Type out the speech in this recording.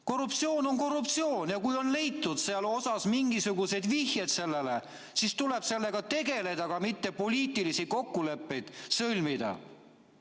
Korruptsioon on korruptsioon ja kui on leitud mingisugused vihjed sellele, siis tuleb sellega tegeleda, aga mitte poliitilisi kokkuleppeid sõlmida.